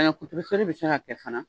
kutebɛ seri bɛ se ka kɛ fana